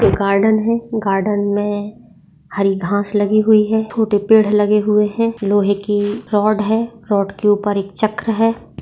Garden है garden मे हरी घास लागि हुई है छोटे पेड़ लगे हुए है लोहे की रोड है रोड के ऊपर यक चक्र है।